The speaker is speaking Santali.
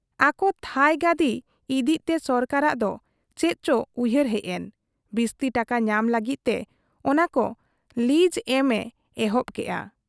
ᱟᱠᱚ ᱛᱷᱟᱺᱭ ᱜᱟᱹᱫᱤ ᱤᱫᱤᱜ ᱛᱮ ᱥᱚᱨᱠᱟᱨᱟᱜ ᱫᱚ ᱪᱮᱫ ᱪᱚ ᱩᱭᱦᱟᱹᱨ ᱦᱮᱡ ᱮᱱ , ᱵᱤᱥᱛᱤ ᱴᱟᱠᱟ ᱧᱟᱢ ᱞᱟᱜᱤᱫ ᱛᱮ ᱚᱱᱟᱠᱚ ᱞᱤᱜᱽ ᱮᱢ ᱮ ᱮᱦᱚᱵ ᱠᱮᱜ ᱟ᱾